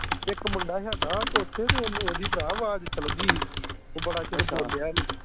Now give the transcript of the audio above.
ਇਕ ਮੁੰਡਾ ਹੇਗਾ ਓਥੈ ਤੇ ਉਹਨੂੰ ਓਹਦੀ ਭਰਾ ਆਵਾਜ਼ ਚਲ ਗਈ ਹੀ ਤੇ ਬੜਾ ਚਿਰ ਬੋਲਿਆ ਨੀ